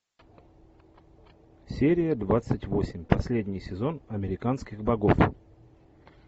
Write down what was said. серия двадцать восемь последний сезон американских богов